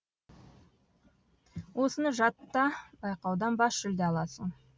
осыны жатта байқаудан бас жүлде аласың